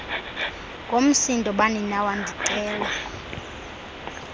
ngomsindo baninawa ndicela